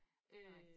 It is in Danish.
Det rigtigt